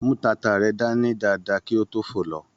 Mú tata rẹ dání dáadáa kí o to fo lọ.